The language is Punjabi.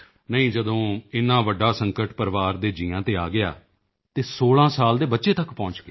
ਨਹੀਂ ਜਦੋਂ ਇੰਨਾ ਵੱਡਾ ਸੰਕਟ ਪਰਿਵਾਰ ਦੇ ਜੀਆਂ ਤੇ ਆ ਗਿਆ ਅਤੇ 16 ਸਾਲ ਦੇ ਬੱਚੇ ਤੱਕ ਪਹੁੰਚ ਗਿਆ